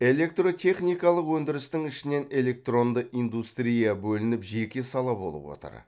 электротехникалық өндірістің ішінен электронды индустрия бөлініп жеке сала болып отыр